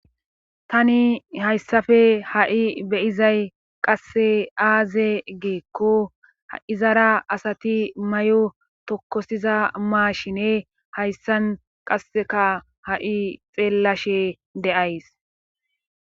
Tani hayssafe ha'i beyizay qasse aaze geekko h'izara asati may'o tokkosiza maashine hayssan qasseka ha'i xeellashe deays.